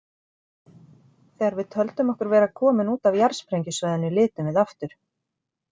Þegar við töldum okkur vera komin út af jarðsprengjusvæðinu litum við aftur.